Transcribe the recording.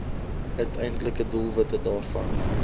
uiteindelike doelwitte daarvan